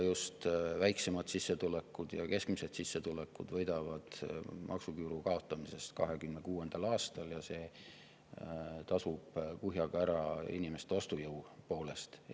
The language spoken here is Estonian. Just väiksema ja keskmise sissetulekuga võidavad 2026. aastal maksuküüru kaotamisest ja see tasub inimeste ostujõu mõttes kuhjaga ära.